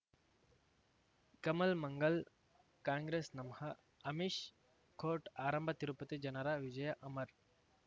ಕಮಲ್ ಮಂಗಳ್ ಕಾಂಗ್ರೆಸ್ ನಮಃ ಅಮಿಷ್ ಕೋರ್ಟ್ ಆರಂಭ ತಿರುಪತಿ ಜನರ ವಿಜಯ ಅಮರ್